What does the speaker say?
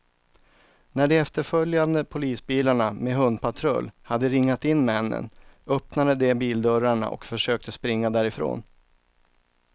När de efterföljande polisbilarna med hundpatrull hade ringat in männen, öppnade de bildörrarna och försökte springa därifrån.